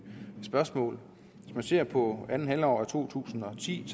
spørgsmål hvis man ser på andet halvår af to tusind og ti